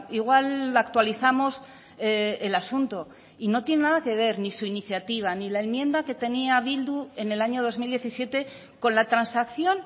igual actualizamos el asunto y no tiene nada que ver ni su iniciativa ni la enmienda que tenía bildu en el año dos mil diecisiete con la transacción